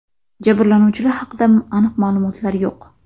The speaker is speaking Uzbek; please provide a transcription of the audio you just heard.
Jabrlanuvchilar haqida aniq ma’lumotlar yo‘q.